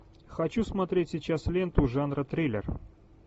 хочу смотреть сейчас ленту жанра триллер